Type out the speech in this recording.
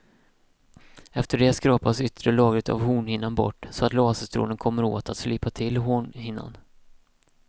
Efter det skrapas yttre lagret av hornhinnan bort så att laserstrålen kommer åt att slipa till hornhinnan.